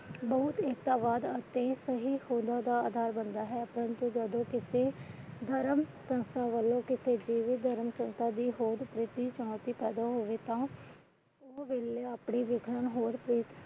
ਜਦੋ ਕਿਸੇ ਧਰਮ ਸੰਸਥਾ ਵਲੋਂ ਕਿਸੇ ਜੀਵਤ ਧਰਮ ਸੰਸਥਾ